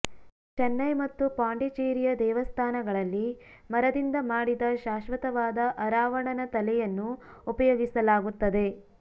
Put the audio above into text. ಚನ್ನೈ ಮತ್ತು ಪಾಂಡಿಚೇರಿಯ ದೇವಸ್ಥಾನಗಳಲ್ಲಿ ಮರದಿಂದ ಮಾಡಿದ ಶಾಶ್ವತವಾದ ಅರಾವಣನ ತಲೆಯನ್ನು ಉಪಯೋಗಿಸಲಾಗುತ್ತದೆ